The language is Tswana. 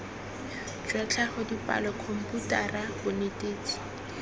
jwa tlhago dipalo khomputara bonetetshi